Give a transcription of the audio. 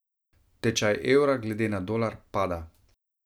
Tečaj evra glede na dolar pada.